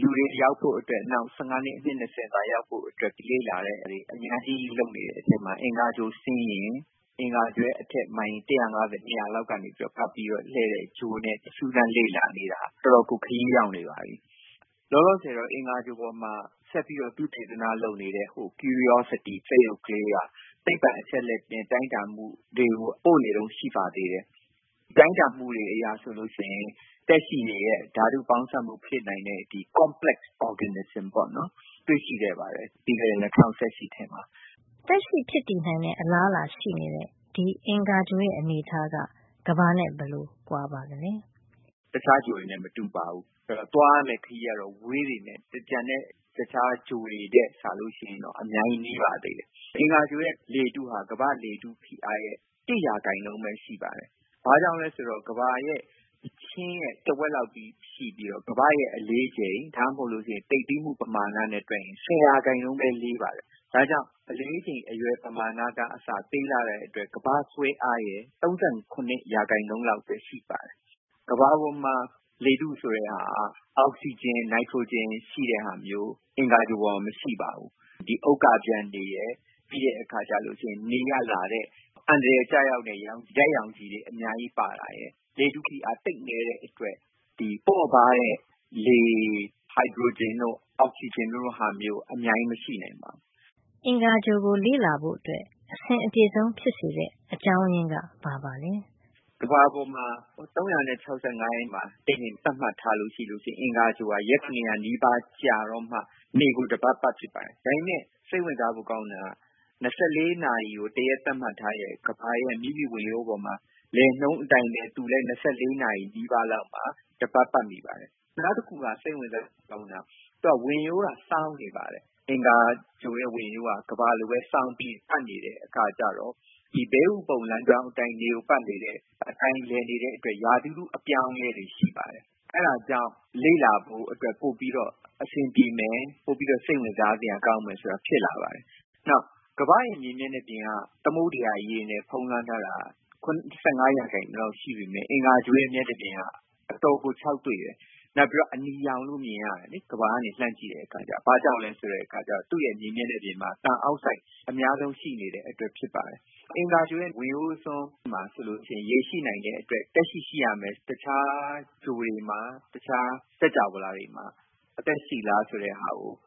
လူတွေ ရောက်ဖို့အတွက် နောက် ဆယ့်ငါးနှစ် အနှစ် ၂၀ မှန်းထားပြီး လေ့လာမှုတွေ အများကြီး လုပ်နေတဲ့ထဲမှာ အင်္ဂါဂြိုဟ်ဆင်းယာဉ်၊ အင်္ဂါဂြိုဟ်ရဲ့ အထက် မိုင်တရာ့ငါးဆယ်၊ ၂၀၀ လောက်ကနေ ပတ်ပြီးတော့ လှည့်တဲ့ ဂြိုဟ်နဲ့ စူးစမ်းလေ့လာနေတာ တော်တော်ကို ခရီးရောက်နေပါပြီ။ လောလောဆယ်တော့ အင်္ဂါဂြိုဟ်ပေါ်မှာ ဆက်ပြီးတော့ သုတေသန လုပ်နေတဲ့ curiosity စက်ရုပ်ကလေးက သိပ္ပံ အချက်အလက်နဲ့ တိုင်းတာမှုတွေကို ပို့ပေးနေတုန်း ရှိပါသေးတယ်။ တိုင်းတာမှုတွေ အရဆိုရင် သက်ရှိတွေရဲ့ ဓါတုပေါင်းစပ်မှု ဖြစ်နိုင်တဲ့ complex organism တွေ့ရှိခဲ့ပါတယ်။ ပြီးခဲ့တဲ့ ၂၀၁၈ ထဲမှာ ” သက်ရှိဖြစ်တည်နိုင်တဲ့ အလားအလာရှိနေတဲ့ ဒီအင်္ဂါဂြိုဟ်ရဲ့ အနေအထားက ကမ္ဘာနဲ့ ဘယ်လို ကွာပါသလဲ ဒေါက်တာပဒေသာတင်။ ။“တခြားဂြိုဟ်တွေနဲ့ မတူပါဘူး။ သွားရမယ့် ခရီးက ဝေးပေမယ့် ကျန်တဲ့ တခြားဂြိုဟ်တွေနဲ့ စာလို့ရှိရင် အများကြီး နီးပါသေးတယ်။ အင်္ဂါဂြိုဟ်ရဲ့ လေထုက ကမ္ဘာ့လေထု ဖိအားရဲ့ ၁ % ပဲ ရှိပါတယ်။ ဘာကြောင့်လည်း ဆိုတော့ အင်္ဂါဂြိုဟ်က ကမ္ဘာရဲ့ အချင်းရဲ့ တဝက်လောက်ပဲရှိပြီးတော့ ကမ္ဘာ့ရဲ့ အလေးချိန် ဒါမှမဟုတ် သိပ်သည်းမှု ပမာဏနဲ့ တွက်ရင် ၁၀% ပဲ လေးပါတယ်။ ဒါ့ကြောင့် အလေးချိန် အရွယ်ပမာဏက အစသေးလှတဲ့အတွက် ကမ္ဘာ့ ဆွဲအားရဲ့ ၃၇% လောက်ပဲ ရှိပါတယ်။ ကမ္ဘာပေါ်မှာ လေထု ဆိုတာက အောက်ဆီဂျင်၊ နိုက်ထရိုဂျင်၊ ရှိတာမျိုး၊ အင်္ဂါဂြိုဟ်ပေါ်မှာက ဒီလို မရှိပါဘူး။ ဥက္ကာပျံတွေရယ်၊ နေကလာတဲ့ အန္တရာယ်ကျရောက်နိုင်တဲ့ ဓါတ်ရောင်ခြည်တွေ အများကြီး ပါတာရယ်၊ လေထုဖိအား သိပ်နဲတဲ့အတွက် ပေါ့ပါးတဲ့ လေဖြစ်တဲ့ ဟိုက်ဒရိုဂျင်တို့၊ အောက်ဆီဂျင်တို့လို ဟာမျိုး အများကြီး မရှိနိုင်ပါဘူး။” အင်္ဂါဂြိုဟ်ကို လေ့လာဖို့ အဆင်အပြေဆုံး ဖြစ်စေတဲ့ အကြောင်းရင်းက ဘာပါလဲ ဒေါက်တာပဒေသာတင်။ ။“ကမ္ဘာပေါ်မှာ ၃၆၅ ရက်မှာ တနှစ် သတ်မှတ်ထားလို့ရှိရင် အင်္ဂါဂြိုဟ်ဟာ ရက် ၇၀၀ နီးပါးကြာတော့မှ နေကို တပတ်ပတ်ဖြစ်ပါတယ်။ ဒါပေမယ့် စိတ်ဝင်စားဖို့ ကောင်းတာက ၂၄ နာရီကို တရက်သတ်မှတ် ထားတဲ့ ကမ္ဘာရဲ့ မိမိဝင်ရိုးပေါ်မှာ လည်နှုန်းအတိုင်းပဲ သူလည်း ၂၄ နာရီနီးပါးလောက်မှာ တပတ် ပတ်မိပါတယ်။ နောက်တခုကလည်း သူ့ဝင်ရိုးကလည်း ကမ္ဘာလိုပဲ စောင်းနေပါတယ်။ အင်္ဂါဂြိုဟ်ရဲ့ ဝင်ရိုးက ကမ္ဘာလိုပဲ စောင်းပြီး ပတ်နေတဲ့ အခါကျတော့ ဒီ ဘဲဥပုံ လမ်းကြောင်း အတိုင်း နေကို ပတ်နေတဲ့ အတိုင်း လည်နေတဲ့ အတွက် ရာသီဥတု အပြောင်းအလဲတွေ ရှိပါတယ်။ အဲဒါကြောင့် လေ့လာဖို့အတွက် ပိုပြီးတော့ အဆင်ပြေမယ်၊ ပိုပြီးတော့ စိတ်ဝင်စား စရာ ကောင်းမယ်လို့ တွက်ကြတာပါ။ နောက် ကမ္ဘာ့ရဲ့ မြေမျက်နှာပြင်က သမုဒ္ဒရာ ရေနဲ့ ဖုံးလွှမ်းနေတာက ၇၅ % လောက်ရှိပေမယ့် အင်္ဂါဂြိုဟ်ရဲ့ မျက်နှာပြင်ကတော့ အတော်ကို ခြောက်သွေ့တယ်။ နောက်ပြီးတော့ အနီရောင် ကြီး မြင်ရတယ်လေ။ ကမ္ဘာကနေ လှမ်းကြည့်တဲ့အခါ။ ဘာကြောင့်လည်း ဆိုတော့ သူ့ရဲ့ မြေမျက်နှာပြင်မှာ သံအောက်ဆိုက် အများဆုံး ရှိနေတဲ့အတွက်ကြောင့် ဖြစ်ပါတယ်။ အင်္ဂါဂြိုဟ်ရဲ့ ဝင်ရိုးစွန်းမှာ ဆိုလို့ရှိရင် ရေရှိနိုင်တဲ့အတွက် သက်ရှိ ရှိရမယ်လို့တွက်ထားပြီး တခြားဂြိုဟ်တွေမှာ သက်ရှိမရှိ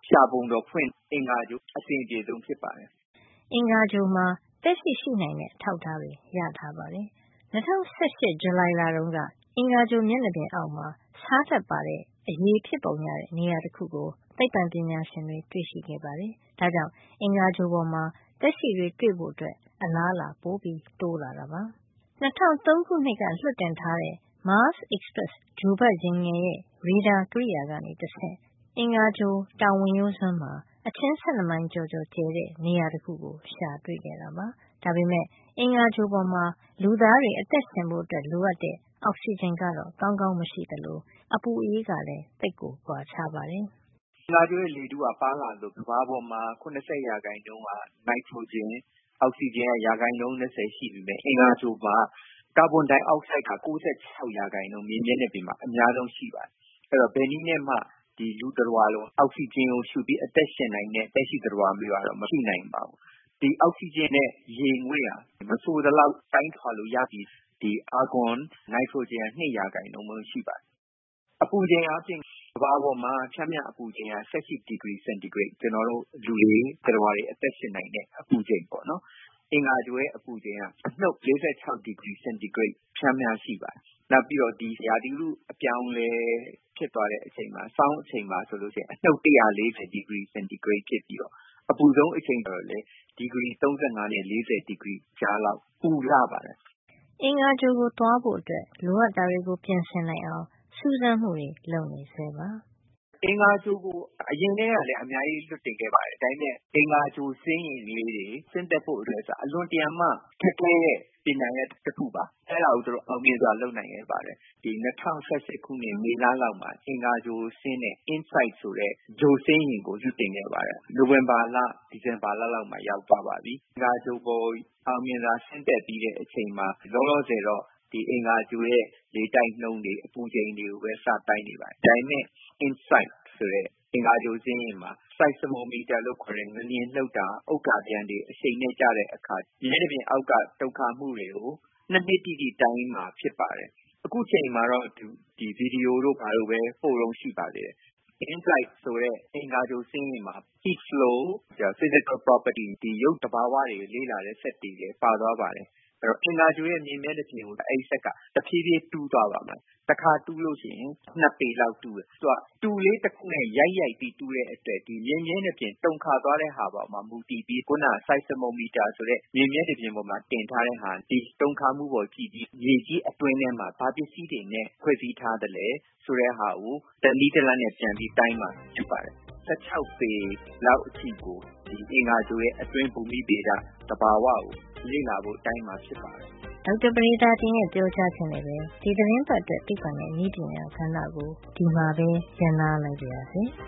ရှာပုံတော် ဖွင့်ရာမှာ အဆင်အပြေဆုံး ဖြစ်ပါတယ်။” အင်္ဂါဂြိုဟ်မှာ သက်ရှိ ရှိနိုင်တဲ့ အထောက်ထားတွေ ရထားပါတယ်။ ၂၀၁၈ ဇူလိုင်လတုန်းက အင်္ဂါဂြိုဟ် မျက်နှာပြင်အောက်မှာ ဆားဓာတ်ပါတဲ့ အရည်ဖြစ်ပုံရတဲ့ နေရာတခုကို သိပ္ပံပညာရှင်တွေ တွေ့ရှိခဲ့ပါတယ်။ ဒါကြောင့်လည်း အင်္ဂါဂြိုဟ်ပေါ်မှာ သက်ရှိတွေ တွေ့ဖို့အလားအလာ ပိုတိုးလာတာပါ။ ၂၀၀၃ ခုနှစ်ကလွှတ်တင်ထား တဲ့ Mars Express ဂြိုဟ်ပတ်ယာဉ်ငယ်ရဲ့ ရေဒါကိရိယာကနေတဆင့် အင်္ဂါဂြိုဟ် တောင်ဝင်ရိုးစွန်းမှာ အချင်း ၁၂ မိုင်ကျော်ကျယ်တဲ့ နေရာတခုကို ရှာဖွေတွေ့ရှိတာပါ။ ဒါပေမယ့် လူသားတွေ အသက်ရှင်သန်ဖို့ လိုအပ်တဲ့ အောက်ဆီဂျင် ကောင်းကောင်း မရှိသလို အင်္ဂါဂြိုဟ်ပေါ်မှာ အပူအအေးကလည်း သိပ်ကွာခြားပါတယ်။ ဒေါက်တာပဒေသာတင်။ ။“အင်္ဂါဂြိုဟ်ရဲ့ လေထုက ပါးလွှာသလို ကမ္ဘာပေါ်မှာ ၇၀ % က နိုက်ထရိုဂျင်၊ အောက်ဆီဂျင်က ရာခိုင်နှုန်း ၂၀ ရှိပေမယ့်၊ အင်္ဂါဂြိုဟ်မှာက ကာဗွန်ဒိုင်အောက်ဆိုက်က ၉၆ % မြေမျက်နှာပြင်မှာ အများဆုံး ရှိပါတယ်။ အဲဒီတော့ ဘယ်နည်းနဲ့မှ ဒီ လူသတ္တဝါလို အောက်ဆီဂျင် ကိုရှုပြီး အသက်ရှင်နိုင်မယ့် သက်ရှိ သတ္တဝါမျိုးကတော့ မရှိနိုင်ပါဘူး။ အောက်ဆီဂျင်နဲ့ ရေငွေ့က မဆိုသလောက် တိုင်းထွာလို့ ရပြီး၊ ဒီအာဂွန်၊ နိုက်ထရိုဂျင်က ၂ % ပဲ ရှိပါတယ်။ အပူချိန်အားဖြင့် ကမ္ဘာပေါ်မှာ ပျမ်းမျှ အပူချိန်က ၁၈ ဒီဂရီ စင်တီဂရိတ်၊ ကျနော်တို့ လူတွေ သတ္တဝါတွေ အသက်ရှင်နိုင်တဲ့ အပူချိန် ပေါ့နော်။ အင်္ဂါဂြိုဟ်က အပူချိန်က အနှုတ် ၄၆ ဒီဂရီ စင်တီဂရိတ် ပျမ်းမျှ ရှိပါတယ်။ နောက်ပြီး ရာသီဥတု အပြောင်းအလဲ ဖြစ်သွားတဲ့ အချိန်မှာ ဆောင်းအချိန်မှာဆို အနှုတ် ၁၄၀ ဒီဂရီစင်တီဂရိတ် ဖြစ်ပြီးတော့ အပူဆုံး အချိန်ကတော့ ဒီဂရီ ၃၅ နဲ့ ၄၀ ဒီဂရီ ကြားလောက် ပူလှ ပါတယ်။” အင်္ဂါဂြိုဟ်ကို သွားဖို့အတွက် လိုအပ်တာတွေကို ပြင်ဆင်နိုင်အောင် စူးစမ်းမှုတွေ လုပ်နေဆဲပါ။ ဒေါက်တာပဒေသာတင်။ ။“အင်္ဂါဂြိုဟ်ကို အရင်ကတည်းကလည်း အများကြီး လွှတ်တင်ခဲ့ပါတယ်။ ဒါပေမယ့် အင်္ဂါဂြိုဟ်ဆင်းယာဉ်လေးတွေ ဆင်းသက်ဖို့ အတွက်က အလွန်တရာမှ ခက်ခဲတဲ့ ပညာရပ် တခုပါ။ အဲဒါကို အောင်မြင်စွာ လုပ်နိုင်ခဲ့ပါတယ်။ ၂၀၁၈ ခုနှစ် မေလလောက်မှာ အင်္ဂါဂြိုဟ်ကို ဆင်းတဲ့ Insight ဆိုတဲ့ ဂြိုဟ်ဆင်းယာဉ်ကို လွှတ်တင်ခဲ့ပါတယ်။ နိုဝင်ဘာ- ဒီဇင်ဘာလ လောက်မှာ ရောက်သွားပါပြီ။ အင်္ဂါဂြိုဟ်ပေါ်ကို အောင်မြင်စွာ ဆင်းသက်ပြီးချိန်မှာ လောလောဆယ်တော့ အင်္ဂါဂြိုဟ်ရဲ့ လေတိုက်နှုန်းတွေ၊ အပူချိန်တွေကိုပဲ စတိုင်းနေပါတယ်။ ဒါပေမယ့် Insight ဆိုတဲ့ ဂြိုဟ်ဆင်းယာဉ်မှာ seismometer လို့ခေါ်တဲ့ စက်နဲ့ ငလျင်လှုပ်တဲ့အခါ၊ ဥက္ကာပျံတွေအရှိန်နဲ့ ကျတဲ့အခါ မျက်နှာပြင်အောက်က တုန်ခါမှုတွေကို ၂ နှစ်တိတိ တိုင်းတာမှာ ဖြစ်ပါတယ်။ အခုအချိန်မှာတော့ ဗီဒီယိုတို့ ဘာတို့ပဲ ပို့တုန်း ရှိပါတယ်။ Insight ဆိုတဲ့ ဂြိုဟ်ဆင်းယာဉ်မှာ heat flow လို ရုပ်သဘာဝတွေကို လေ့လာတဲ့ စက်တွေလည်း ပါသွားပါတယ်။ အဲဒီတော့ အင်္ဂါဂြိုဟ်ရဲ မြေမျက်နှာပြင်ကို အဲဒီစက်က တဖြေးဖြေး တူးသွားပါမယ်။ တခါ တူးလို့ရှိရင် ၂ ပေလောက်တူးတယ်။ သူက တူကလေးတခုနဲ့ ရိုက်ရိုက်ပြီး တူးတဲ့အတွက် မြေမျက်နှာပြင် တုန်ခါသွားတာပေါ် မူတည်ပြီး seismometer လို့ခေါ်တဲ့ စက်နဲ့ တုန်ခါမှုပေါ်မူတည်ပြီး မြေကြီး အတွင်းထဲ ဘာပစ္စည်းတွေနဲ့ ဖွဲ့စည်းထားသလဲဆိုတာကို တနည်းတလမ်းနဲ့ ပြန်တိုင်းမှာ ဖြစ်ပါတယ်။ ၁၆ ပေလောက် အထိကို အင်္ဂါဂြိဟ်ရဲ့ အတွင်းပိုင်း ဘူမိဗေဒ၊ သဘာဝ ကိုလေ့လာဖို့ တိုင်းတာမှာ ဖြစ်ပါတယ်။” ဒေါက်တာပဒေသာတင်ရဲ့ ပြောကြားချက်နဲ့ပဲ ဒီသီတင်းပတ်အတွက် သိပ္ပံနဲ့နည်းပညာ ကဏ္ဍကို ဒီမှာပဲ ရပ်နားလိုက်ပါရစေ။